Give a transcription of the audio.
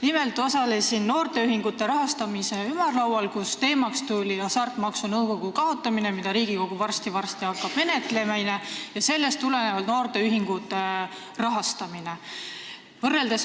Nimelt osalesin ma noorteühingute rahastamise ümarlaual, kus teemaks oli Hasartmängumaksu Nõukogu kaotamine, mida Riigikogu hakkab varsti-varsti menetlema, ja sellest tulenevalt noorteühingute rahastamine.